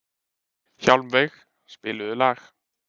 Hjálmveig, spilaðu lag.